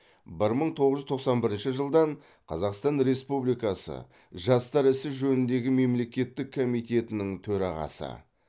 бір мың тоғыз жүз тоқсан бірінші жылдан қазақстан республикасы жастар ісі жөніндегі мемлекеттік комитетінің төрағасы